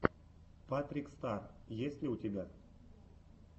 патрик стар есть ли у тебя